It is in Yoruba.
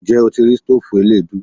Ǹjẹ́ o ti rí stoofu eleedu?